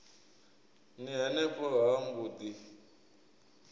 ni henefho ha mbo ḓi